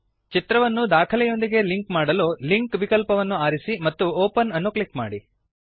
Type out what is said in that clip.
ಚಿತ್ರವನ್ನು ದಾಖಲೆಯೊಂದಿಗೆ ಲಿಂಕ್ ಮಾಡಲು ಲಿಂಕ್ ವಿಕಲ್ಪವನ್ನು ಆರಿಸಿ ಮತ್ತು ಒಪೆನ್ ಅನ್ನು ಕ್ಲಿಕ್ ಮಾಡಿ